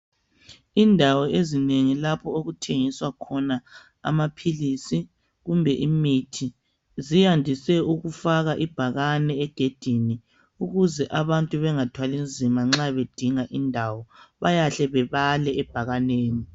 Indawo ezinengi lapho okuthengiswa khona amaphilisi kumbe imithi ziyandise ukufaka ibhakane esangweni ukuze abantu bengathwali nzima nxa bedinga indawo bayahle bebale ebhakaneni.